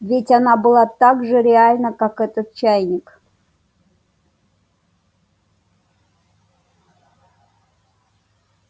ведь она была так же реальна как этот чайник